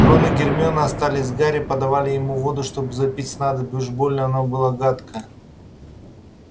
рон и гермиона остались с гарри подавали ему воду чтобы запить снадобье уж больно оно было гадкое